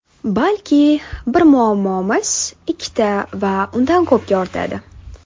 Balki, bir muammomiz ikkita va undan ko‘pga ortadi.